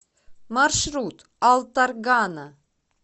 маршрут алтаргана